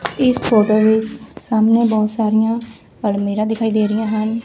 ਇਸ ਫੋਟੋ ਵਿੱਚ ਸਾਹਮਣੇ ਬਹੁਤ ਸਾਰੀਆਂ ਅਲਮੀਰਾ ਦਿਖਾਈ ਦੇ ਰਹੀਆਂ ਹਨ।